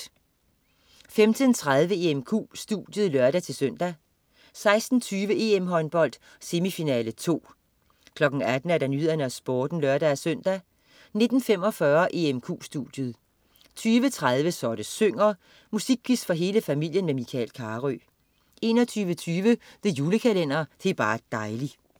15.30 EMQ studiet (lør-søn) 16.20 EM-håndbold: Semifinale 2 18.00 Nyhederne og Sporten (lør-søn) 19.45 EMQ studiet 20.30 Så det synger. Musikquiz for hele familien med Michael Carøe 21.20 The Julekalender. Det er bar' dejli'